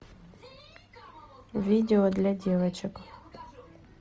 видео для девочек